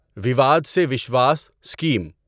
Vivad se Vishwas scheme